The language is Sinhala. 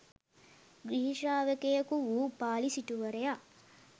ගිහි ශ්‍රාවකයෙකු වූ උපාලි සිටුවරයා